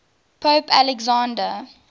pope alexander